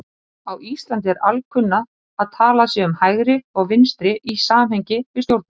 Á Íslandi er alkunna að talað sé um hægri og vinstri í samhengi við stjórnmál.